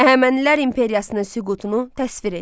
Əhəmənilər imperiyasının süqutunu təsvir eləyin.